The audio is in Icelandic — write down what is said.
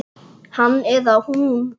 Hann eða hún